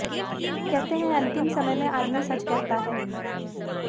कहते हैं अंतिम समय में आदमी सच कहता है